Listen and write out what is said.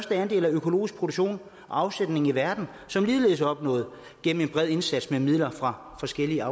andel af økologisk produktion og afsætning i verden som ligeledes er opnået gennem en bred indsats med midler fra forskellige